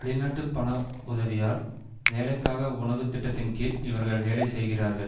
வெளிநாட்டு பண உதவியால் வேலைக்காக உணவு திட்டத்தின்கீழ் இவர்கள் வேலை செய்கிறார்கள்